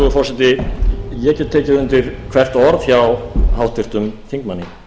virðulegi forseti ég get tekið undir hvert orð hjá háttvirtum þingmanni